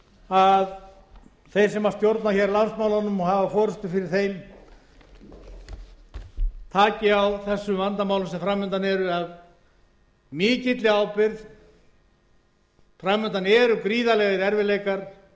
að þeir sem stjórna hér landsmálunum og hafa forustu fyrir þeim taki á þessum vandamálum sem fram undan eru af mikilli ábyrgð fram undan eru gríðarlegir erfiðleikar